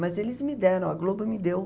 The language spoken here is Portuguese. Mas eles me deram, a Globo me deu.